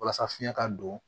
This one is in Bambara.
Walasa fiɲɛ ka don